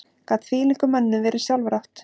Gat þvílíkum mönnum verið sjálfrátt?